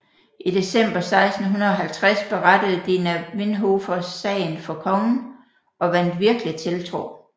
I december 1650 berettede Dina Vinhofvers sagen for kongen og vandt virkelig tiltro